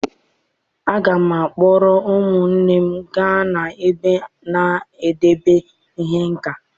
Aga m akpọrọ ụmụnne gaa n'ebe a na-edebe ihe nka.